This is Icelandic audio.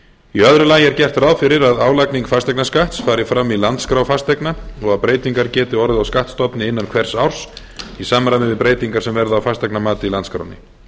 í öðru lagi er gert ráð fyrir að álagning fasteignaskatts fari fram í landskrá fasteigna og að breytingar geti orðið á skattstofni innan hvers árs í samræmi við breytingar sem verða á fasteignamati í landskránni